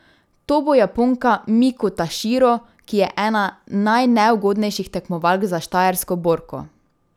To bo Japonka Miku Taširo, ki je ena najneugodnejših tekmovalk za štajersko borko.